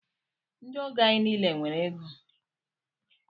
Ndị ọgọ anyị niile nwere égo.